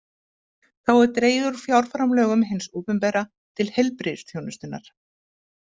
Þá er dregið úr fjárframlögum hins opinbera til heilbrigðisþjónustunnar.